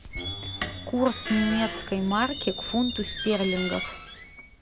курс немецкой марки к фунту стерлингов